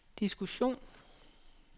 diskussion